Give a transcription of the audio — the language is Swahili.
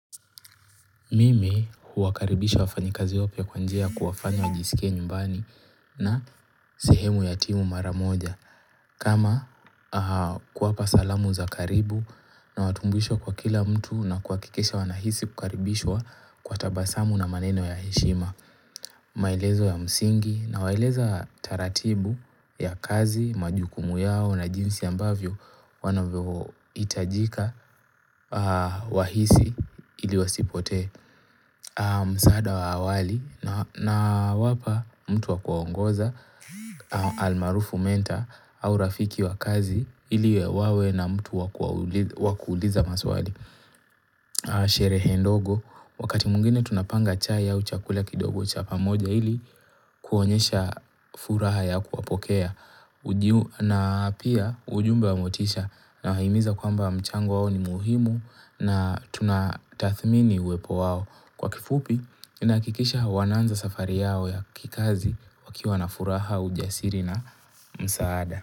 Mimi huwakaribisha wafanyikazi wapya kwa njia kuwafanya wajisikie nyumbani na sehemu ya timu mara moja. Kama kuwapa salamu za karibu nawatumbuishwa kwa kila mtu na kuhakikisha wanahisi kukaribishwa kwa tabasamu na maneno ya heshima. Maelezo ya msingi nawaeleza taratibu ya kazi, majukumu yao na jinsi ambavyo wanavyo hitajika wahisi ili wasipotee. Msaada wa awali nawapa mtu wa kuwaongoza almarufu mentor au rafiki wa kazi ili wawe na mtu wa kuuliza maswali sherehe ndogo wakati mwingine tunapanga chai au chakula kidogo cha pamoja ili kuonyesha furaha ya kuwapokea na pia ujumbe wa motisha nawahimiza kwamba mchango wao ni muhimu na tuna tathmini uwepo wao Kwa kifupi, inahakikisha wanaanza safari yao ya kikazi wakiwa na furaha ujasiri na msaada.